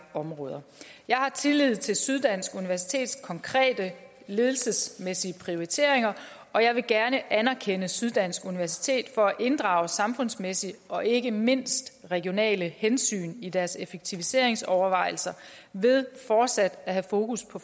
områder jeg har tillid til syddansk universitets konkrete ledelsesmæssige prioriteringer og jeg vil gerne anerkende syddansk universitet for at inddrage samfundsmæssige og ikke mindst regionale hensyn i deres effektiviseringsovervejelser ved fortsat at have fokus på